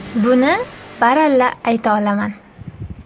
Buni baralla ayta olaman.